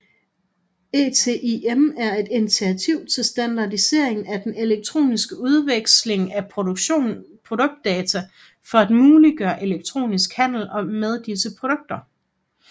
ETIM er et initiativ til standardisering af den elektroniske udveksling af produktdata for at muliggøre elektronisk handel med disse produkter